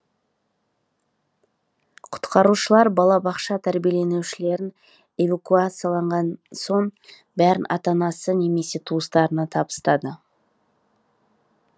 құтқарушылар балабақша тәрбиеленушілерін эвакуациялаған соң бәрін ата анасы немесе туыстарына табыстады